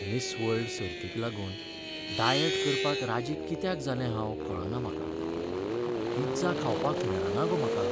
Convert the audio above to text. Miss World सर्तीक लागून diet करपाक राजी कित्याक जालें हांव कळना म्हाका. पिझ्झा खावपाक मेळना गो म्हाका.